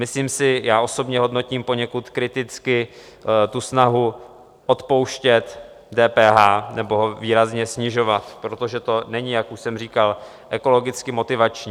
Myslím si, já osobně hodnotím poněkud kriticky tu snahu odpouštět DPH, nebo ho výrazně snižovat, protože to není, jak už jsem říkal, ekologicky motivační.